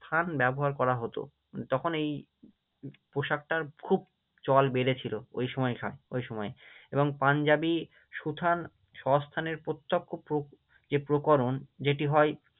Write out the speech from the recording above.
থান ব্যবহার করা হতো, তখন এই পোশাকটার খুব চল বেড়েছিল, ওই সময়কার, ওই সময়ে এবং পাঞ্জাবি সুথান সস্থানের প্রত্যক্ষ যে প্রকরণ যেটি হয়